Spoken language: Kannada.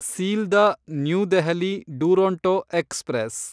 Sealdah New Delhi Duronto express